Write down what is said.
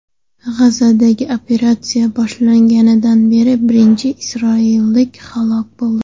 G‘azodagi operatsiya boshlanganidan beri birinchi isroillik halok bo‘ldi.